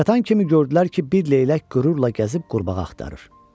Çatan kimi gördülər ki, bir leylək qürurla gəzib qurbağa axtarır.